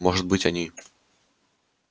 может быть они